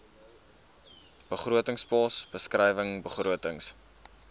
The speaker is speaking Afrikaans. begrotingspos beskrywing begrotings